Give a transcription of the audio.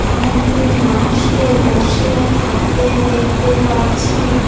অনেকগুলি মানুষকে বসে থাকতে দেখতে পাচ্ছি।